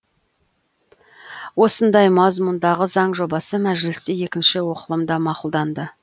осындай мазмұндағы заң жобасы мәжілісте екінші оқылымда мақұлданды